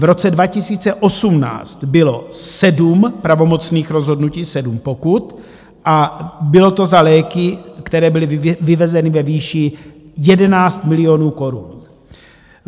V roce 2018 bylo 7 pravomocných rozhodnutí, 7 pokut, a bylo to za léky, které byly vyvezeny ve výši 11 milionů korun.